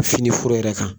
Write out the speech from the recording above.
Fini foro yɛrɛ kan